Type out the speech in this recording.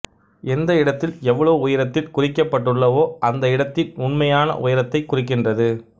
எந்த இடத்தில் எவ்வளவு உயரத்தில் குறிக்கப்பட்டுள்ளவோ அந்த இடத்தின் உண்மையான உயரத்தைக் குறிக்கின்றன